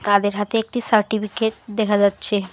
তাদের হাতে একটি সার্টিফিকেট দেখা যাচ্ছে।